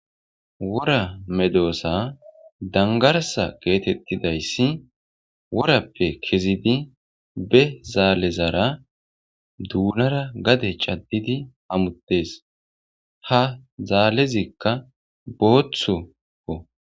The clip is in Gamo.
Wora medoosa dangarsa geetettidayssi worappe kezidi be zaalezara duunara gade caddidi hamuttes ha zaalezikka booththokko.